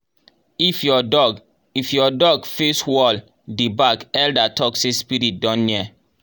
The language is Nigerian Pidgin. if your dog if your dog face wall dey bark elder talk say spirit don near